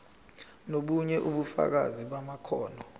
nobunye ubufakazi bamakhono